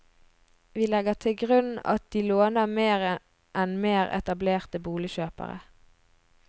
Vi legger til grunn at de låner mer enn mer etablerte boligkjøpere.